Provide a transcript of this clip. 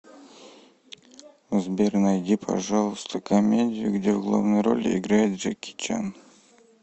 сбер найди пожалуйста комедию где в главной роли играет джеки чан